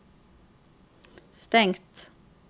stengt